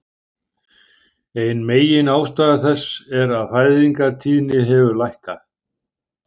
Ein meginástæða þess er að fæðingartíðni hefur lækkað.